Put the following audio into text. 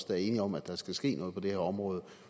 der er enige om at der skal ske noget på det her område